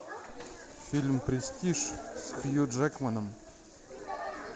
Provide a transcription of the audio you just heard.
фильм престиж с хью джекманом